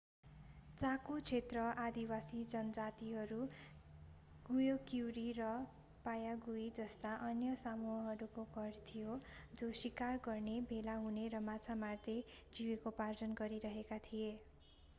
चाको क्षेत्र आदिवासी जनजातिहरू गुयक्युरी र पायागुईजस्ता अन्य समूहहरूको घर थियो जो शिकार गर्ने भेला हुने र माछा मार्दै जीविकोपार्जन गरिरहेका थिए